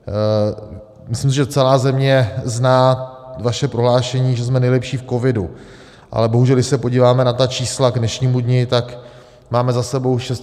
Myslím, že celá země zná vaše prohlášení, že jsme nejlepší v covidu, ale bohužel když se podíváme na ta čísla k dnešnímu dni, tak máme za sebou 6 740 úmrtí.